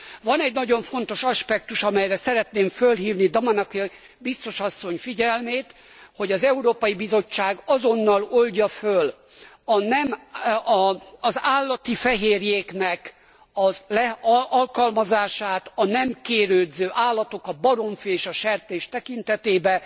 Van egy nagyon fontos aspektus, amelyre szeretném fölhívni Damanaki biztos asszony figyelmét, hogy az Európai Bizottság azonnal oldja föl az állati fehérjéknek az alkalmazását a nem kérődző állatok, a baromfi és a sertés tekintetében.